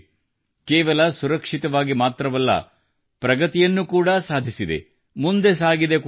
ಕೇವಲ ಸುರಕ್ಷಿತವಾಗಿ ಮಾತ್ರವಲ್ಲ ಪ್ರಗತಿಯನ್ನು ಕೂಡಾ ಸಾಧಿಸಿದೆ ಮುಂದೆ ಸಾಗಿದೆ ಕೂಡಾ